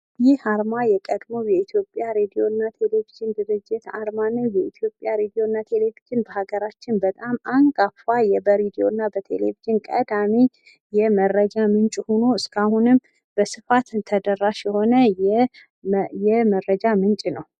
ይህ አርማ የቀድሞ የኢትዮጵያ ሬዲዮና ቴሌቪዥን ድርጅት አርማ የኢትዮጵያ ሬዲዮና ቴሌቪዥን በሀገራችን በጣም አንጋፋ በሬዲዮና በቴሌቭዥን ቀዳሚ የመረጃ ምንጭ ሆኖ እስካሁንም በስፋት ተደራሽ የሆነ የመረጃ ምንጭ ነው።